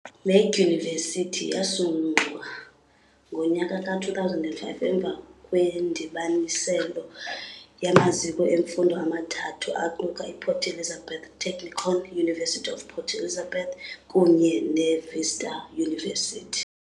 Le Dyunivesithi yasungulwa ngonyaka ka-2005 emva kwendibanisela yamaziko emfundo amathathu aquka i Port Elizabeth Technikon, University of Port Elizabeth kunye ne Vista University.